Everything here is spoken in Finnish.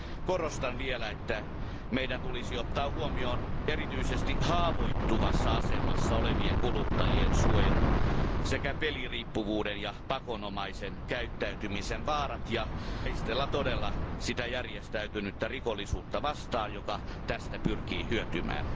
Korostan vielä, että meidän tulisi ottaa huomioon erityisesti haavoittuvassa asemassa olevien kuluttajien suojelu sekä peliriippuvuuden ja pakonomaisen käyttäytymisen vaarat ja todella taistella sitä järjestäytynyttä rikollisuutta vastaan, joka tästä pyrkii hyötymään.